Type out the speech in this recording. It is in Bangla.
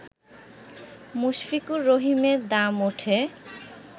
মুশফিকুর রহিমের দাম উঠে